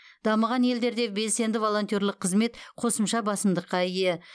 дамыған елдерде белсенді волонтерлік қызмет қосымша басымдыққа ие